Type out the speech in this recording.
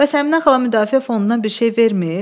Bəs Əminə xala müdafiə fonduna bir şey vermir?